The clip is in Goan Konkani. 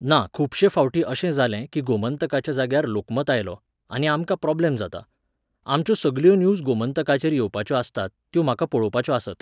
ना खुबशे फावटी अशें जालें की गोमंतकाच्या जाग्यार लोकमत आयलो, आनी आमकां प्रॉब्लॅम जाता. आमच्यो सगल्यो न्यूज गोमंतकाचेर येवपाच्यो आसतात, त्यो म्हाका पळोवपाच्यो आसात.